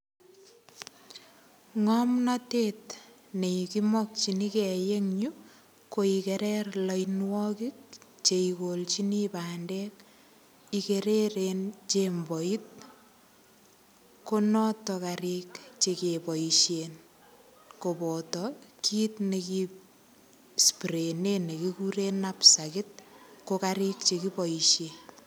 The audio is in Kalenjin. Ngomnotet nekimokchinigei en yu ko ikere loinwokik cheikolchini bendek ikereren jemboit konoton karik chekeboishen koboto kiit neki sprayene nekikuren napstakit ko karik chekiboishe.